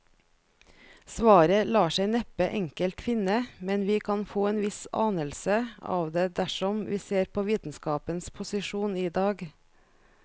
Svaret lar seg neppe enkelt finne, men vi kan få en viss anelse av det dersom vi ser på vitenskapens posisjon i dag.